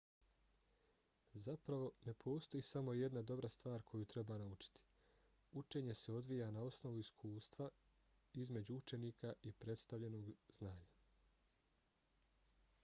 zapravo ne postoji samo jedna dobra stvar koju treba naučiti. učenje se odvija na osnovu iskustva između učenika i predstavljenog znanja